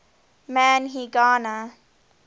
man y gana